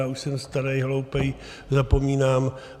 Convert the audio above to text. Já už jsem starý, hloupý, zapomínám.